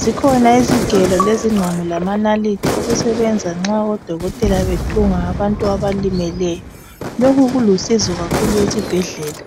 zikhona izigelo lezingqamu lamanalithi okusebenza nxa odokotela bethunga abantu abalimeleyo lokhu kulusizo kakhulu ezibhedlela.